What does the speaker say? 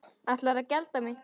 Ætlarðu að gelda mig?